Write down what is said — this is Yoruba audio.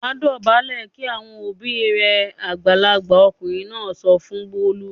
"Wà á dọ̀bálẹ̀ kí àwọn òbí rẹ!" Àgbàlagbà ọkùnrin náà sọ fún Bólú.